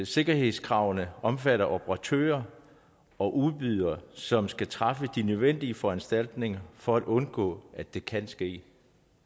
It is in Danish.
sikkerhedskravene omfatter operatører og udbydere som skal træffe de nødvendige foranstaltninger for at undgå at der kan ske